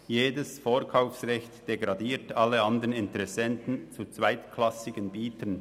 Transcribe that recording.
Jedes Vorkaufsrecht degradiert alle anderen Interessenten zu zweitklassigen Bietern.